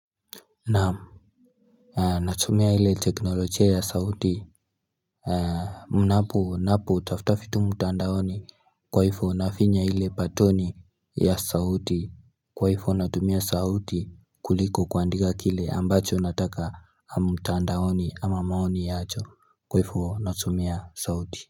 Naam natumia ile teknolojia ya sauti ninapo tafuta vitu mtandaoni kwa hivyo nafinya ile batoni ya sauti Kwa hivyo natumia sauti kuliko kuandika kile ambacho nataka mtandaoni ama maoni yacho kwa hivyo natumia sauti.